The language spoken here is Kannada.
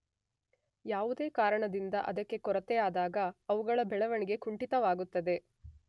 ಯಾವುದೇ ಕಾರಣದಿಂದ ಅದಕ್ಕೆ ಕೊರತೆಯಾದಾಗ ಅವುಗಳ ಬೆಳೆವಣಿಗೆ ಕುಂಠಿತವಾಗುತ್ತದೆ.